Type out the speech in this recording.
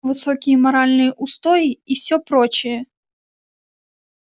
высокие моральные устои и всё прочее